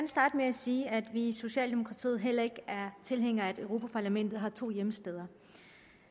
sige at vi i socialdemokratiet heller ikke er tilhængere af at europa parlamentet har to hjemsteder